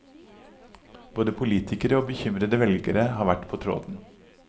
Både politikere og bekymrede velgere har vært på tråden.